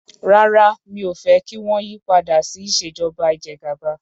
Rárá mi ò fẹ́ fẹ́ kí wọ́n yí padà sí ìṣèjọba ìjẹgàba.